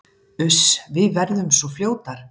Uss, við verðum svo fljótar